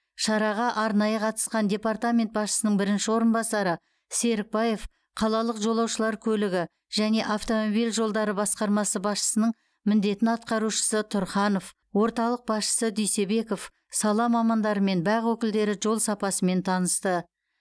шараға арнайы қатысқан департамент басшысының бірінші орынбасары серікбаев қалалық жолаушылар көлігі және автомобиль жолдары басқармасы басшысының міндетін атқарушы тұрханов орталық басшысы дүйсебеков сала мамандары мен бақ өкілдері жол сапасымен танысты